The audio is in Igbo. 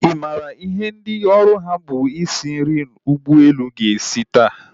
Ị maara ihe ndị oru ha bụ isi nri ụgbọelu ga-esi taa?